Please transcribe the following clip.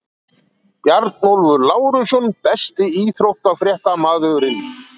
Bjarnólfur Lárusson Besti íþróttafréttamaðurinn?